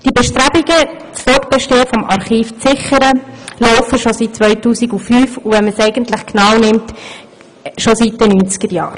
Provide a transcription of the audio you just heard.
Diese Bestrebungen, das Fortbestehen des Archivs zu sichern, laufen bereits seit dem Jahr 2005 und wenn man es genau nimmt, eigentlich schon seit den 90er-Jahren.